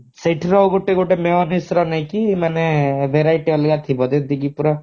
ସେଠିର ଗୋଟେ ଗୋଟେ mayonesse ର ନେଇକି ମାନେ variety ଅଲଗା ଥିବ ଯେମିତି କି ପୁରା